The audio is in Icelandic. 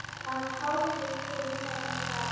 Að hálfu fyrir neðan gras.